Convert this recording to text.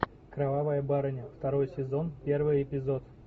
кровавая барыня второй сезон первый эпизод